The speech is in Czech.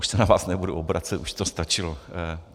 Už se na vás nebudu obracet, už to stačilo.